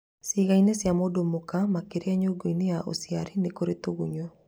Cĩĩga-ini cia mũndũ mũka makĩria nyũngũ-inĩ ya ũciari nĩkurĩ tũgunyo